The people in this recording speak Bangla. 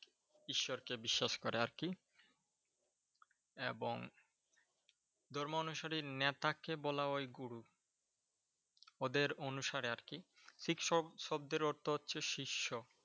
ঈশ্বরকে বিশ্বাস করে আর কি। এবং ধর্ম অনুসারী নেতাকে বলা হয় গুরু। ওদের অনুসারে আর কি। শিখ শব্দের অর্থ হচ্ছে শিষ্য।